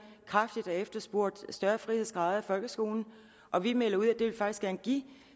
kraftigt har efterspurgt større frihedsgrader i folkeskolen og vi melder ud at vi faktisk gerne give